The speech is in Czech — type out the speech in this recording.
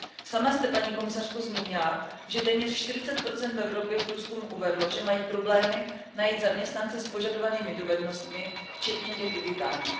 Sama jste, paní komisařko, zmínila, že téměř 40 firem v Evropě v průzkumu uvedlo, že mají problémy najít zaměstnance s požadovanými dovednostmi, včetně těch digitálních.